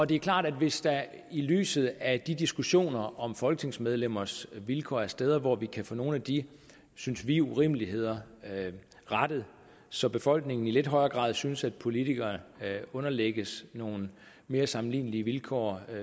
det er klart at hvis der i lyset af de diskussioner om folketingsmedlemmers vilkår er steder hvor vi kan få nogle af de synes vi urimeligheder rettet så befolkningen i lidt højere grad synes at politikere underlægges nogle mere sammenlignelige vilkår